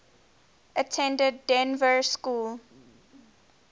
attended dynevor school